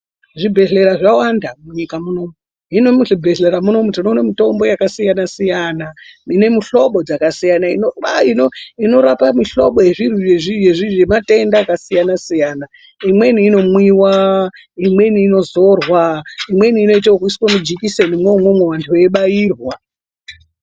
Zvibhehleya zvakawanda munyika munomu hino muzvibhehlera munomu tinoona mutombo yakasiyana siyana inomuhlobo inorapa muhlobo yematenda akasiyana siyana imweni inomwiwa inweni inodzorwa imweni inoiswa mujikiseni imwomwoo antu eyibairwa